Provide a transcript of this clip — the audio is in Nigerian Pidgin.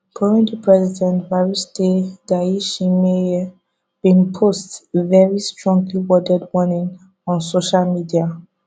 burundi president evariste ndayishimiye bin post very stronglyworded warning on social media